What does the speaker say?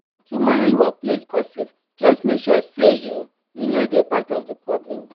to manage workplace gossip just make sure say you you no dey part of di problem.